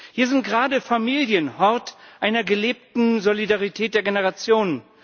Hier sind gerade Familien Hort einer gelebten Solidarität der Generationen.